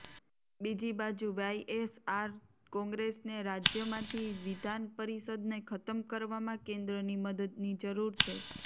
બીજી બાજુ વાયએસઆર કોંગ્રેસને રાજ્યમાંતી વિધાન પરિષદને ખતમ કરવામાં કેન્દ્રની મદદની જરૂર છે